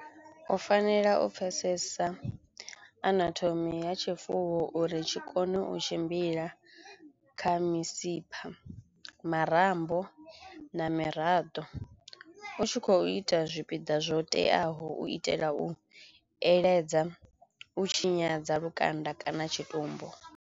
U fanela u pfesesa anathome ya tshifuwo uri tshi kono u tshimbila kha misipha, marambo na miraḓo u tshi khou ita zwipiḓa zwo teaho u itela u eledza, u tshinyadza lukanda kana tshitumbu.